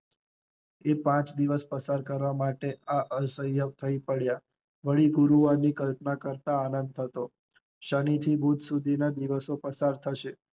એ પાંચ દિવસ પસાર કરવા મટે આ અશક્ય કરતા પડ્યા, વળી ગુરુવાર ની કલ્પના કરતા આનંદ હતો શનિ થી બુધ સુધી ના દિવસ પસાર થશે.